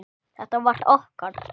Þetta var okkar.